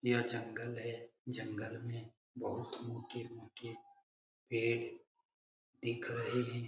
यह जंगल है जंगल में बहोत मोटे-मोटे पेड़ दिख रहे हैं।